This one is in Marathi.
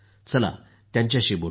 आता त्यांच्याशी बोलू या